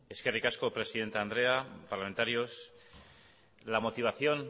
eskerrik asko presidente andrea parlamentarios y